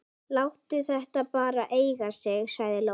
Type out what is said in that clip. Láttu þetta bara eiga sig, sagði Lóa.